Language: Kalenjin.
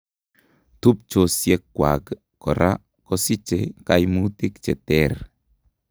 Tubchosiekwak koraa kosiche kaimutik cheter